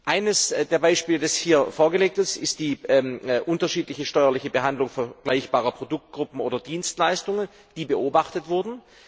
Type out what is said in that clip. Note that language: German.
Eines der Beispiele, das hier vorgelegt ist, ist die unterschiedliche steuerliche Behandlung vergleichbarer Produktgruppen oder Dienstleistungen, die beobachtet wurden.